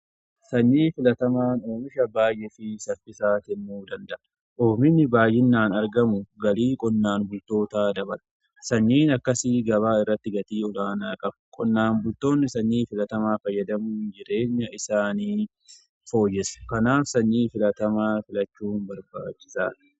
Sanyii filatamaan oomisha baay'ee fi saffisaa kennuu danda'a. oomishni baay'inaan argamu galii qonnaan bultootaa dabala. Sanyiin akkasii gabaa irratti gatii olaanaa qaba. qonnaan bultoonni sanyii filatamaa fayyadamuun jireenya isaanii fooyyessa. Kanaaf sanyii filatamaa filachuu barbaachisaadha.